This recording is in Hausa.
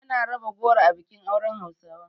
Ana raba goro a bikin auren hausawa.